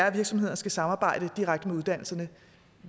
at virksomhederne skal samarbejde direkte med uddannelserne